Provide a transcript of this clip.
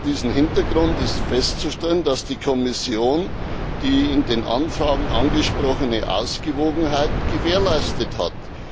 Vor diesem Hintergrund ist festzustellen, dass die Kommission die in den Anfragen angesprochene Ausgewogenheit gewährleistet hat.